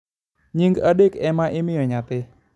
nyinge adek ema imoyo nyathi